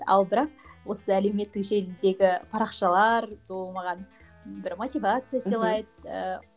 ал бірақ осы әлеуметтік желідегі парақшалар ол маған бір мотивация сыйлайды